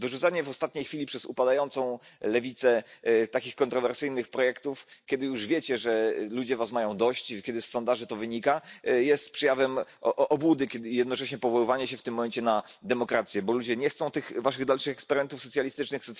Dorzucanie w ostatniej chwili przez upadającą lewicę takich kontrowersyjnych projektów, kiedy już wiecie, że ludzie mają was dość, i kiedy wynika to z sondaży, jest przejawem obłudy, podobnie jak jednoczesne powoływanie się w tym momencie na demokrację, bo ludzie nie chcą tych waszych dalszych eksperymentów socjalistycznych.